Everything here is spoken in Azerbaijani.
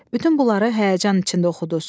Bütün bunları həyəcan içində oxuduz.